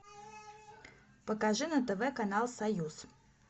покажи на тв канал союз